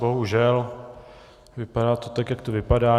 Bohužel, vypadá to tak, jak to vypadá.